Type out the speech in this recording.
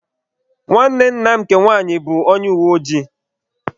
Nwanne nna m nke nwaanyị bụ onye uweojii.